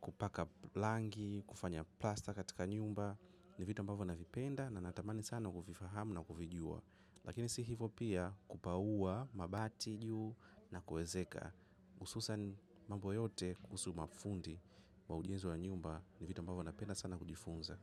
kupaka rangi, kufanya plaster katika nyumba. Ni vitu ambavyo navipenda na natamani sana kuvifahamu na kuvijua. Lakini si hivyo pia kupauwa mabati juu na kuezeka. Hususan mambo yote kuhusu mafundi wa ujenzi wa nyumba ni vitu ambavyo na penda sana kujifunza.